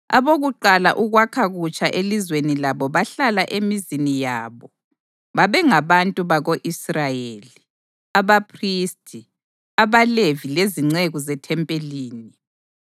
Abokuqala ukwakha kutsha elizweni labo bahlala emizini yabo babengabantu bako-Israyeli, abaphristi, abaLevi lezinceku zethempelini.